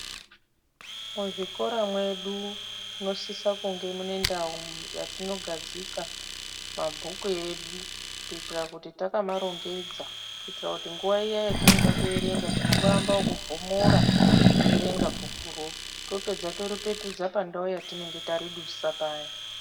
Muzvikora mwedu munosisa kunge munendau yatinogadzika mabhuku edu kuitira kuti takamarongedza kuitira kuti nguva iya yetinoda kuerenga tinongoamba nekuvhomora, toerenga bhukuro. Topedza toripetusa pandau yatinenge taridusa paya.